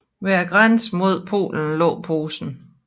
Ved grænsen mod Polen lå Posen